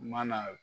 U mana